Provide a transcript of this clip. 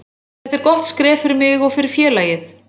Þetta er gott skref fyrir mig og fyrir félagið.